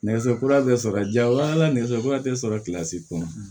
Nɛgɛso kura bɛ sɔrɔ jaa o ala nɛgɛso kura tɛ sɔrɔ kilasi kɔnɔ